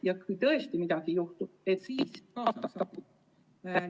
Ja kui tõesti midagi juhtub, siis peab ta ka abi saama.